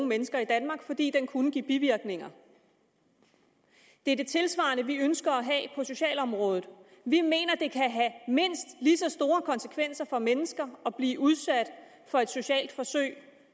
mennesker i danmark fordi den kunne give bivirkninger det er det tilsvarende vi ønsker at have på socialområdet vi mener at det kan have mindst lige så store konsekvenser for mennesker at blive udsat for et socialt forsøg